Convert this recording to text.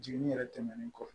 Jiginni yɛrɛ tɛmɛnen kɔ